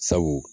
Sabu